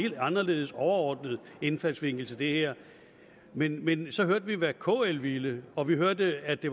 helt anderledes overordnet indfaldsvinkel til det her men men så hørte vi hvad kl ville og vi hørte at det